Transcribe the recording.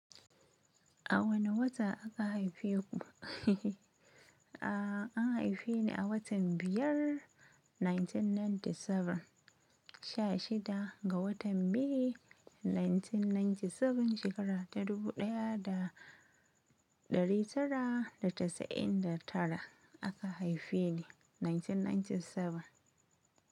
A wane wata aka haife ku? A an haife ni a watan biyar 1997, sha shida ga watan may, 1997, shekara ta dubu ɗaya da ɗari tara da casa'in da tara aka haife ni, 1997.